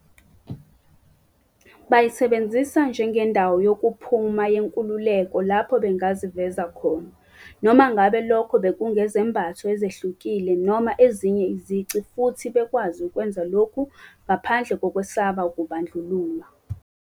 Bayisebenzisa njengendawo yokuphuma yenkululeko lapho bengaziveza khona, noma ngabe lokho bekungezembatho ezihlukile noma ezinye izici futhi bekwazi ukwenza lokhu ngaphandle kokwesaba ukubandlululwa.